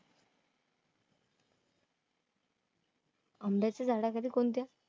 आंब्याच्या झाडाखाली कोणत्या?